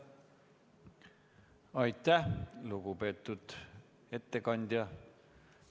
Aitäh, lugupeetud ettekandja!